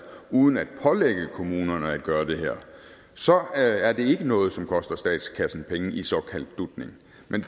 uden at pålægge kommunerne at gøre det er det ikke noget som koster statskassen penge i såkaldt dutning